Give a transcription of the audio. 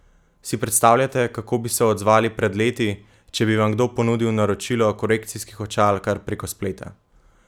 Si predstavljate, kako bi se odzvali pred leti, če bi vam kdo ponudil naročilo korekcijskih očal kar preko spleta?